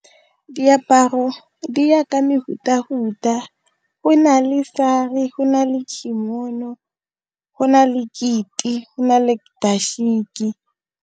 Diaparo di ya ka mehuta-huta, go na le go na le , go na le keiti, go na le dashiki.